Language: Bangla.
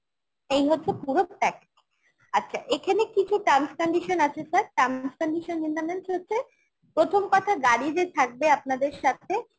এই হচ্ছে পুরো package আচ্ছা এখানে কিছু terms condition আছে sir terms condition in the means হচ্ছে প্রথম কথা গাড়ি যে থাকবে আপনাদের সাথে